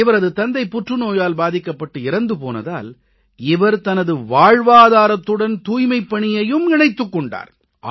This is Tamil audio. இவரது தந்தை புற்றுநோயால் பாதிக்கப்பட்டு இறந்து போனதால் இவர் தனது வாழ்வாதாரத்துடன் தூய்மைப் பணியை இணைத்துக் கொண்டார்